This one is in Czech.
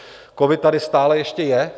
Covid tady stále ještě je.